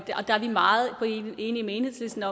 meget enige med enhedslisten